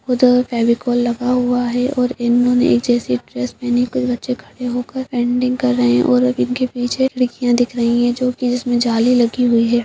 उधर फेविकॉल लगा हुआ है और इन्होंने एक जैसी ड्रेस पहनी कोई बच्चे खड़े होकर एंडिंग कर रहे हैं और अब इनके पीछे खिड़कियां दिख रही है जो की जिसमें जाली लगी हुई है।